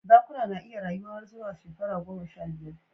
Zakuna na iya rayuwa har zuwa shekaru goma sha biyar